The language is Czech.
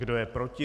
Kdo je proti?